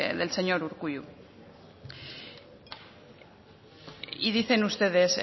del señor urkullu y dicen ustedes